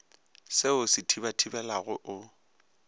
se o se thibathibelago o